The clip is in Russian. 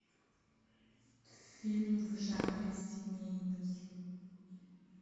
фильм в жанре семейный